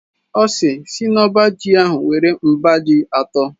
Ọ sị, “Sii n’ọba ji ahụ were mba ji atọ"